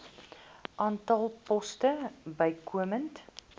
aantal poste bykomend